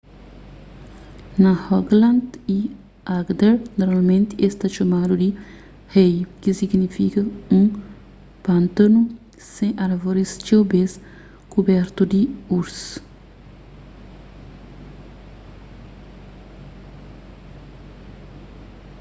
na rogaland y agder normalmenti es ta txomadu di hei ki signifika un pântanu sen árvoris txeu bês kubertu di urze